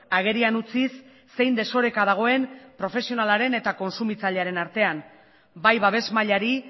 agerian utziz zein desoreka dagoen profesionalaren eta kontsumitzailearen artean bai babes mailari